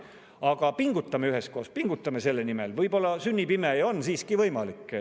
Aga pingutame üheskoos, pingutame selle nimel, võib-olla sünnib ime ja see on siiski võimalik.